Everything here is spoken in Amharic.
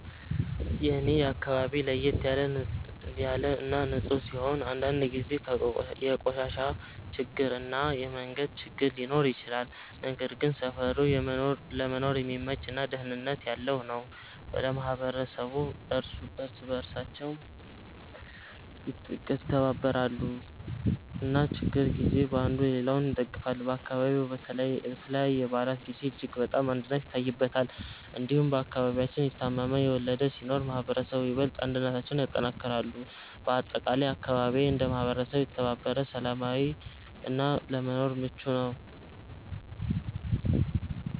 የኔ አካባቢ ለየት ያለ እና ንፁህ ሲሆን፣ አንዳንድ ጊዜ የቆሻሻ ችግር እና የመንገድ ችግር ሊኖር ይችላል። ነገር ግን ሰፈሩ ለመኖር የሚመች እና ደህንነት ያለው ነው። ማህበረሰቡ እርስ በእርሳቸው ይተባበራሉ እና በችግር ጊዜ አንዱ ሌላውን ይደግፋል። አካባቢው በተለይ በበዓላት ጊዜ እጅግ በጣም አንድነት ይታይበታል። እንዲሁም በአከባቢያችን የታመመ፣ የወለደ ሲኖር ማህበረሰቡ በይበልጥ አንድነታቸውን ያጠናክራሉ። በአጠቃላይ አካባቢዬ እንደ ማህበረሰብ የተባበረ፣ ሰላማዊ እና ለመኖር ምቹ ነው።